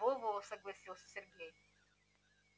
во-во согласился сергей